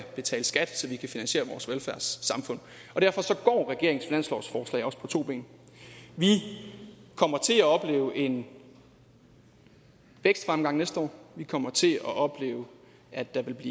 betale skat så vi kan finansiere vores velfærdssamfund derfor går regeringens finanslovsforslag også på to ben vi kommer til at opleve en vækstfremgang næste år vi kommer til at opleve at der vil